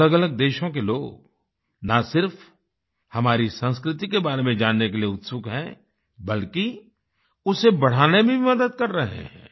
अलगअलग देशों के लोग ना सिर्फ हमारी संस्कृति के बारे में जानने के लिए उत्सुक हैं बल्कि उसे बढ़ाने में भी मदद कर रहे हैं